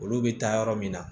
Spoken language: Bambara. Olu bɛ taa yɔrɔ min na